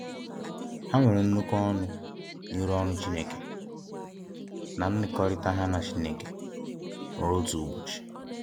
Ha nwere nnukwu ọnụ n’ịrụ ọrụ Chineke, na n’iṅọkọrita ha na Chineke, ruo otu ụbọchị.